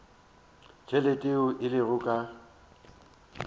tšhelete yeo e lego ka